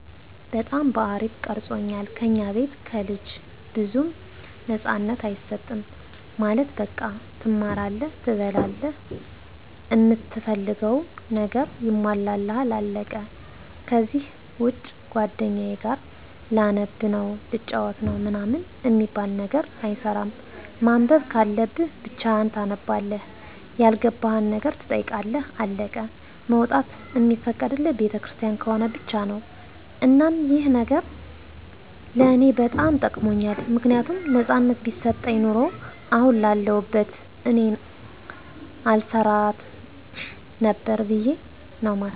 በጣም በአሪፉ ቀርፆኛል። ከኛ ቤት ለልጅ ብዙም ነፃነት አይሰጥም ማለት በቃ ትማራለህ፣ ትበላላህ፣ እምትፈልገው ነገር ይሟላልሃል አለቀ ከዚህ ውጭ ጓደኛዬ ጋር ላነብ ነው፣ ልጫወት ነው ምናምን አሚባል ነገር አይሰራም። ማንበብ ካለብህ ብቻህን ታነባለህ ያልገባህን ነገር ትጠይቃለህ አለቀ። መውጣት እሚፈቀድልን ቤተክርስቲያን ከሆነ ብቻ ነው። እናም ይህ ነገር ለኔ በጣም ጠቅሞኛል ምክንያቱም ነፃነት ቢሰጠኝ ኑሮ አሁን ያለሁት እኔን አልሰራትም ነበር ብዬ ነው ማስበው